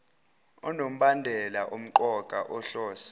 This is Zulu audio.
onombandela omqoka ohlose